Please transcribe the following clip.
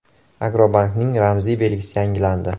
“Agrobank”ning ramziy belgisi yangilandi.